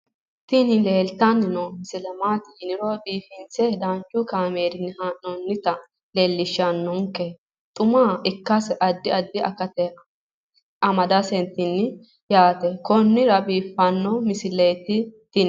tini leeltanni noo misile maaati yiniro biifinse danchu kaamerinni haa'noonnita leellishshanni nonketi xuma ikkase addi addi akata amadaseeti yaate konnira biiffanno misileeti tini